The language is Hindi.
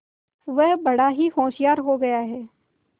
वह बड़ा ही होशियार हो गया है